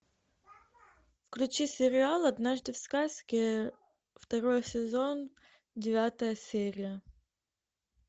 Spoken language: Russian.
включи сериал однажды в сказке второй сезон девятая серия